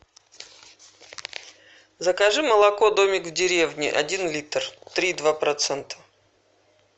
закажи молоко домик в деревне один литр три и два процента